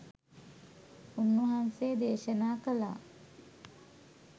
උන් වහන්සේ දේශනා කළා